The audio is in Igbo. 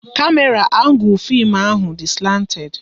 Kamera angul fim ahụ dị slanted